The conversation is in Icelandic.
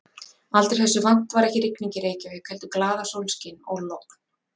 Aldrei þessu vant var ekki rigning í Reykjavík heldur glaðasólskin og logn.